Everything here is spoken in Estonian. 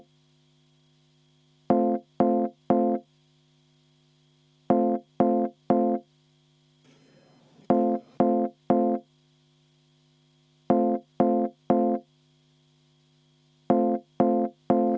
V a h e a e g